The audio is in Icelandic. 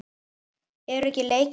Eru ekki leikir á eftir?